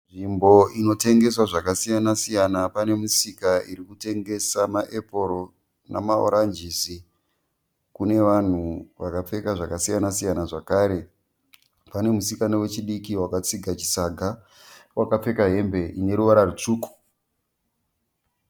Nzvimbo inotengeswa zvakasiyana siyana. Panemisika irikutengesa ma eporo namaranjisi. Kune vanhu vakapfeka zvakasiyana siyana. Zvakare, pane musikana wechidiki waka tsiga chisaga wakapfeka hembe ineruvara rutsvuku .